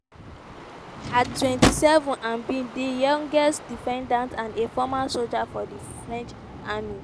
at 27 im be di youngest defendants and a former soldier for di french army.